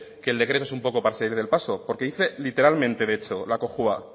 que el decreto es un poco para salir del paso porque dice literalmente de hecho la cojua